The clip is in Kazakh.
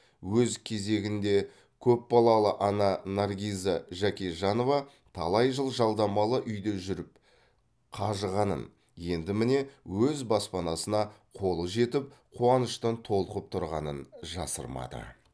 өз кезегінде көпбалалы ана наргиза жәкежанова талай жыл жалдамалы үйде жүріп қажығанын енді міне өз баспанасына қолы жетіп қуаныштан толқып тұрғанын жасырмады